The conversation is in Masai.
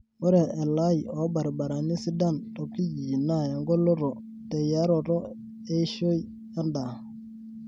Ore elaii oo baribarani sidan tokijiji naa engoloto teyaroto eishoi endaa.